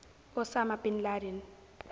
osama bin laden